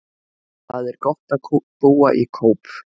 Það er gott að búa í Kóp.